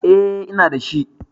Eh ina da shi